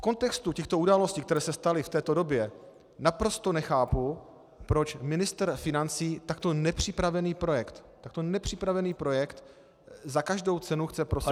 V kontextu těchto událostí, které se staly v této době, naprosto nechápu, proč ministr financí takto nepřipravený projekt - takto nepřipravený projekt - za každou cenu chce prosadit.